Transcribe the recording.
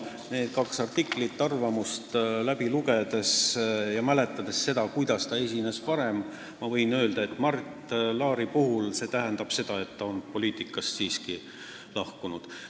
Nende kahe artikli põhjal, mäletades seda, kuidas ta esines varem, ma võin öelda, et Mart Laari puhul tähendab see seda, et ta on poliitikast siiski lahkunud.